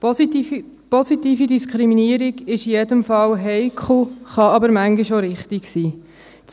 Weshalb? – Positive Diskriminierung ist in jedem Fall heikel, kann aber manchmal auch richtig sein.